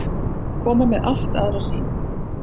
Koma með allt aðra sýn